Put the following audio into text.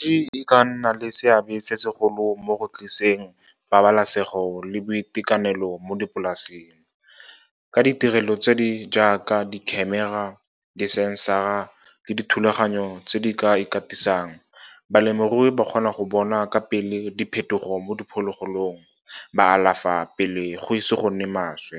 Thekenoloji e ka nna le seabe se segolo mo go tlisitseng pabalesego le boitekanelo mo dipolaseng, ka ditirelo tse di jaaka di-camera, di-sensor-ra le dithulaganyo tse di ka ikatisang. Balemirui ba kgona go bona ka pele diphetogo mo diphologolong, ba alafa pele go ise go nne maswe.